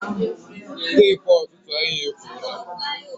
Tepu ọtụtụ anyị efuola